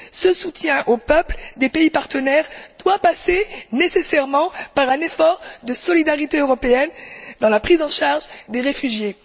Ce soutien aux peuples des pays partenaires doit passer nécessairement par un effort de solidarité européenne dans la prise en charge des réfugiés.